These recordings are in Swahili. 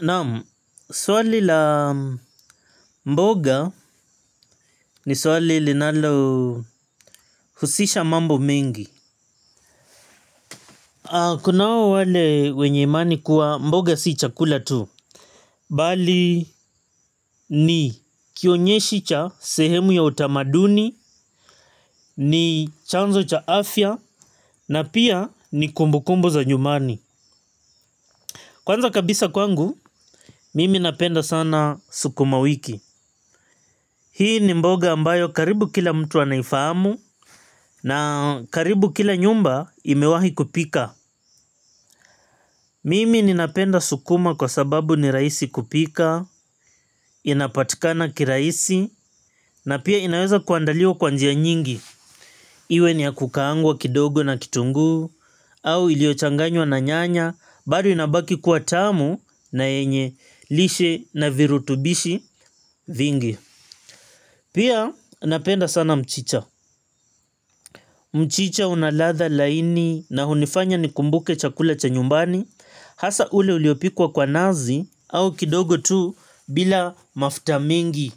Naam, swali la mboga ni swali linalo husisha mambo mingi. Kunao wale wenye imani kuwa mboga si chakula tu. Bali ni kionyeshi cha sehemu ya utamaduni, ni chanzo cha afya, na pia ni kumbukumbu za nyumani. Kwanza kabisa kwangu, mimi napenda sana sukuma wiki. Hii ni mboga ambayo karibu kila mtu anaifahamu na karibu kila nyumba imewahi kupika. Mimi ninapenda sukuma kwa sababu ni rahisi kupika, inapatikana kirahisi, na pia inaweza kuandaliwa kwa njia nyingi. Iwe ni ya kukaangwa kidogo na kitunguu, au iliochanganywa na nyanya, bado inabaki kuwa tamu na yenye lishe na virutubishi vingi. Pia napenda sana mchicha. Mchicha unaladha laini na hunifanya nikumbuke chakula cha nyumbani. Hasa ule uliopikwa kwa nazi au kidogo tu bila mafuta mengi.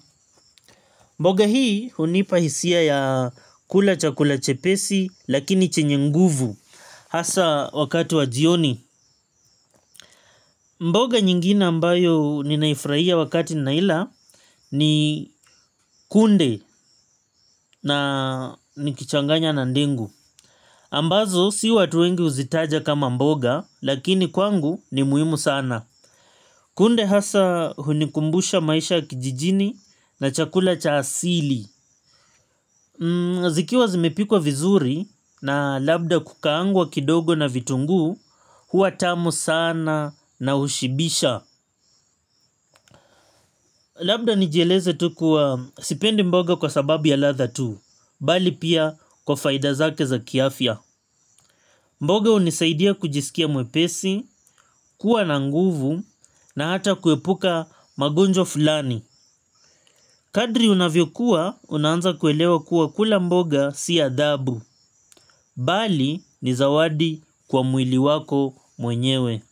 Mboga hii hunipahisia ya kula chakula chepesi lakini chenye nguvu. Hasa wakati wa jioni iwe ni ya kukangwa kidogo na kitungu, au iliochanganywa na nyanya, bari inabaki kuatamu na yenye lishe na virutubishi vingi. Kunde na nikichanganya na ndengu ambazo si watu wengi uzitaja kama mboga lakini kwangu ni muhimu sana. Kunde hasa hunikumbusha maisha kijijini na chakula cha asili. Zikiwa zimepikwa vizuri na labda kukaangwa kidogo na vitunguu huwa tamu sana na ushibisha. Labda nijieleze tu kuwa sipendi mboga kwa sababu ya ladha tu. Bali pia kwa faida zake za kiafya. Mboga unisaidia kujisikia mwepesi, kuwa na nguvu na hata kuepuka magonjwa fulani. Kadri unavyokuwa unaanza kuelewa kuwa kula mboga si adhabu. Bali ni zawadi kwa mwili wako mwenyewe.